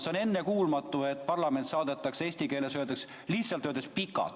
See on ennekuulmatu, et parlament saadetakse, eesti keeles öeldes, lihtsalt pikalt.